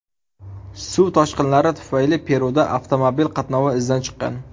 Suv toshqinlari tufayli Peruda avtomobil qatnovi izdan chiqqan.